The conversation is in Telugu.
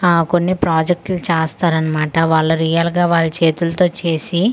ఆ కొన్ని ప్రాజెకట్లు చేస్తారు అన్నమాట వాళ్ళు రియల్ గా వల చేతులతో చేసి అ--